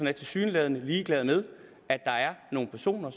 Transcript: er tilsyneladende ligeglad med at der er nogle personer